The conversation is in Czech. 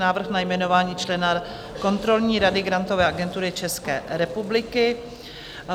Návrh na jmenování člena kontrolní rady Grantové agentury České republiky